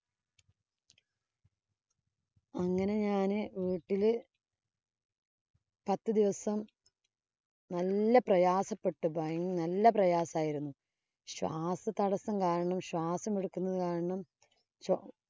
അങ്ങനെ ഞാന് വീട്ടില് പത്ത് ദിവസം നല്ല പ്രയാസപ്പെട്ട് ഭയങ്ക നല്ല പ്രയാസം ആയിരുന്നു. ശ്വാസതടസ്സം കാരണം ശ്വാസമെടുക്കുന്നത് കാരണം